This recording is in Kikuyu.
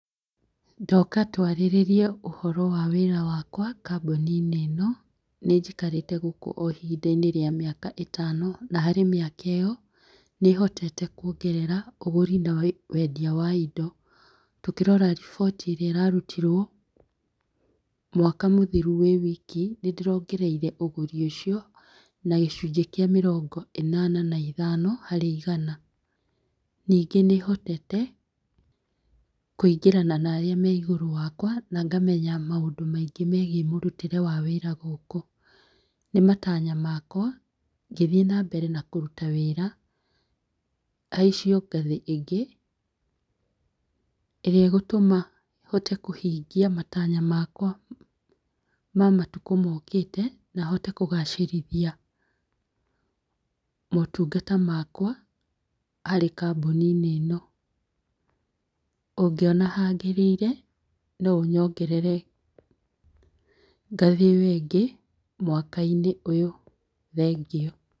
Ndoka twarĩrĩrie ũhoro wa wĩra wakwa, kambuni-inĩ ĩno nĩnjikarĩte gũkũ o hinda rĩa mĩaka ĩtano, na harĩ mĩaka ĩo, nĩhotete kwongerera ũgũri na wendia wa indo. Tũngĩrora riboti ĩrĩa ĩrarutirwo mwaka mũthiru wĩwiki, nĩndĩrona ũgũri ũcio na gĩcunjĩ kĩa mĩrongo ĩnana na ithano harĩ igana. Ningĩ nĩhotete kwĩngĩrana na arĩa meigũrũ wakwa, nangamenya maũndũ maingĩ megiĩ mũrutĩre wa wĩra gũkũ. Nĩmatanya makwa , ngĩthiĩ na mbere ba kũruta wĩra, haicio ngathĩ ĩngĩ ĩrĩa ĩgũtũma hote kũhingia matanya makwa ma matukũ mokĩte, na hote kũgacĩrithia motungata makwa harĩ kambũni-inĩ ĩno. ũngĩona hagĩrĩire, noũnyongerere ngathĩ ĩyo ĩngĩ mwaka-inĩ ũyũ. Thengiũ.